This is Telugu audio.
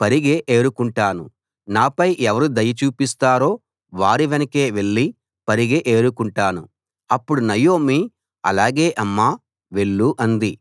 పరిగె ఏరుకుంటాను నాపై ఎవరు దయ చూపిస్తారో వారి వెనకే వెళ్ళి పరిగె ఏరుకుంటాను అప్పుడు నయోమి అలాగే అమ్మా వెళ్ళు అంది